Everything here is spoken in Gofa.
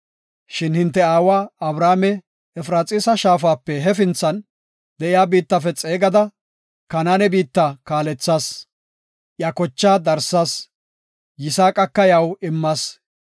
Shin hinte aawa Abrahaame, Efraxiisa shaafape hefinthan de7iya biittafe xeegada, Kanaane biittan kaalethas. Iya kochaa darsas; Yisaaqaka iyaw immas.